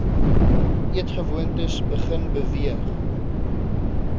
eetgewoontes begin beweeg